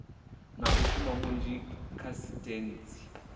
na mushumo munzhi kha sisiteme